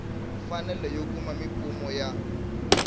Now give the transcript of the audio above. mfanelo yo kuma mimpfuno ya